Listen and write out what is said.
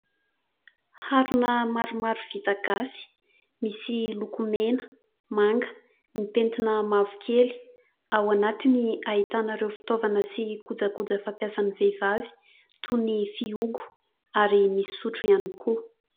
Harona maromaro vita gasy : misy lokomena, manga, mipentina mavokely ; ao anatiny ahitana ireo fitaovana sy kojakoja fampiasa ny vehivavy toy ny fihogo ary misy sotro ihany koa.